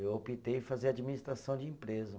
Eu optei fazer administração de empresa.